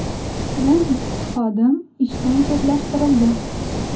Bu ikki xodim ishdan chetlashtirildi.